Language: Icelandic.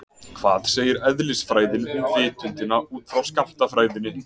Hvað segir eðlisfræðin um vitundina út frá skammtafræðinni?